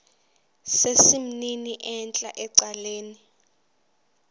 sesimnini entla ecaleni